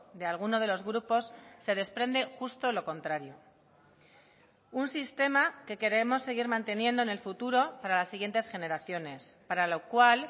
de alguno de los grupos se desprende justo lo contrario un sistema que queremos seguir manteniendo en el futuro para las siguientes generaciones para lo cual